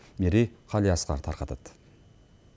мерей қалиасқар тарқатады